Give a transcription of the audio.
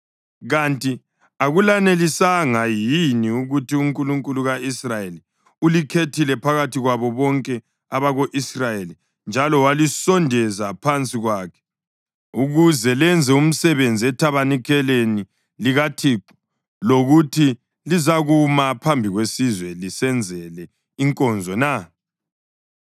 Kanti akulanelisanga yini ukuthi uNkulunkulu ka-Israyeli ulikhethile phakathi kwabo bonke abako-Israyeli njalo walisondeza phansi kwakhe ukuze lenze umsebenzi ethabanikeleni likaThixo lokuthi lizakuma phambi kwesizwe lisenzele inkonzo na?